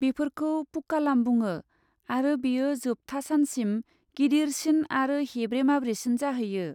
बेफोरखौ पुक्कालाम बुङो आरो बेयो जोबथा सानसिम गिदिरसिन आरो हेब्रे माब्रेसिन जाहैयो।